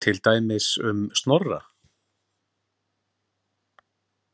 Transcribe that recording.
Til dæmis um Snorra?